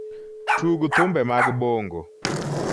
tug thumbe mag bongo